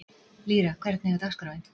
Lýra, hvernig er dagskráin?